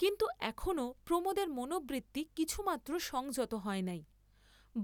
কিন্তু এখনও প্রমোদের মনোবৃত্তি কিছুমাত্র সংযত হয় নাই,